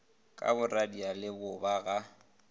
ka boradia le bobe ga